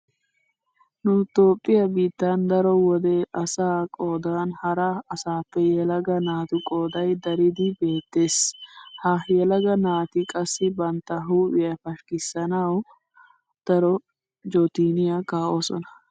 Nu toophphiya biittan daro wode asaa qoodan hara asaappe yelaga naatu qoody daridi beettees. Ha yelaga naati qassi bantta huuphiya pashkkissanawu darosn jootoniya kaa'oosona.